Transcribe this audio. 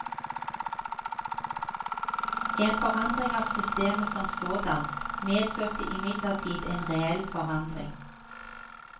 En forandring av systemet som sådan medførte imidlertid en reell forandring.